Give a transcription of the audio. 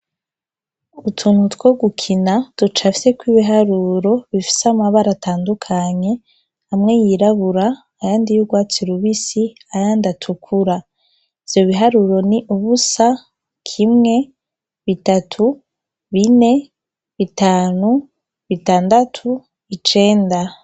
Utuntu two gukina ducafiyeko ibiharuro bifise amabara atandukanye hamwe yirabura aya ndi y'urwatsi lubisi aya ndiatukura vyo biharuro ni ubusa kimwe bitatu bine bitanu bitandatu ice enda.